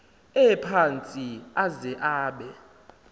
ephantsi aze abe